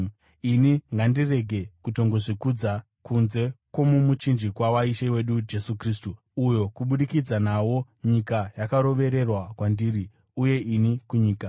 Ini ngandirege kutongozvikudza kunze kwomumuchinjikwa waIshe wedu Jesu Kristu, uyo kubudikidza nawo nyika yakarovererwa kwandiri, uye ini kunyika.